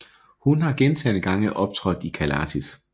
Hun har gentagne gange optrådt i Callatis